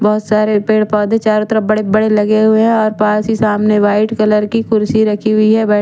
बहुत सारे पेड़ पौधे चारों तरफ बड़े बड़े लगे हुए हैं और पास ही सामने व्हाइट कलर की कुर्सी रखी हुई है बै--